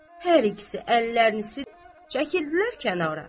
Hər ikisi əllərini silib çəkililər kənara.